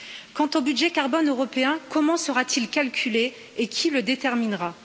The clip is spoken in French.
Quant au budget carbone européen, comment sera t il calculé et qui le déterminera?